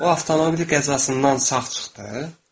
O avtomobil qəzasından sağ çıxdı.